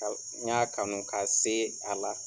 n y'a kanu ka se a la.